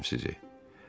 Öpürəm sizi.